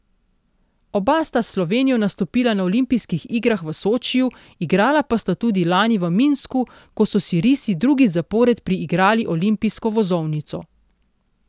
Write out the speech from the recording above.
Oba sta s Slovenijo nastopila na olimpijskih igrah v Sočiju, igrala pa sta tudi lani v Minsku, ko so si risi drugič zapored priigrali olimpijsko vozovnico.